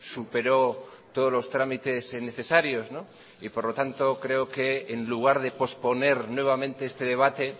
superó todos los trámites necesarios y por lo tanto creo que en lugar de posponer nuevamente este debate